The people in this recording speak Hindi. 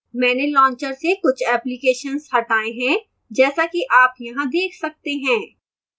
मैंने launcher से कुछ applications हटाए हैं जैसा कि आप यहाँ देख सकते हैं